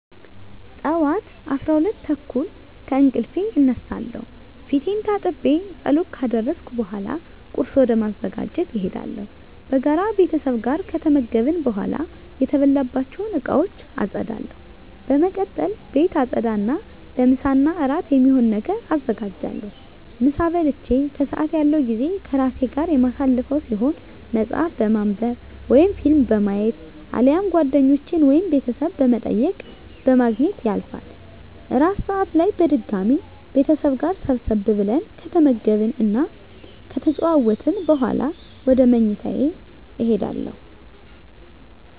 ጠዋት 12:30 ከእንቅልፌ እነሳለሁ። ፊቴን ታጥቤ ፀሎት ካደረስኩ በኃላ ቁርስ ወደ ማዘጋጀት እሄዳለሁ። በጋራ ቤተሰብ ጋር ከተመገብን በኃላ የተበላባቸውን እቃወች አፀዳለሁ። በመቀጠል ቤት አፀዳ እና ለምሳ እና እራት የሚሆን ነገር አዘጋጃለሁ። ምሳ በልቼ ከሰአት ያለው ጊዜ ከራሴ ጋር የማሳልፈው ሲሆን መፀሀፍ በማንብ ወይም ፊልም በማየት አሊያም ጓደኞቼን ወይም ቤተሰብ በመጠየቅ በማግኘት ያልፋል። እራት ሰአት ላይ በድጋሚ ቤተሰብ ጋር ሰብሰብ ብለን ከተመገብን እና ከተጨዋወትን በኃላ ወደ ምኝታ እሄዳለሁ።